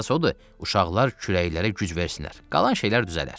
Əsas odur, uşaqlar kürəklərə güc versinlər, qalan şeylər düzələr.